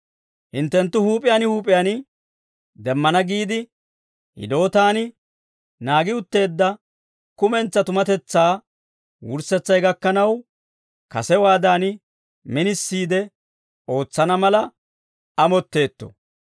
Hinttenttu huup'iyaan huup'iyaan demmana giide, hidootaan naagi utteedda kumentsaa tumatetsaa wurssetsay gakkanaw, kasewaadan minisiide ootsana mala amotteetto.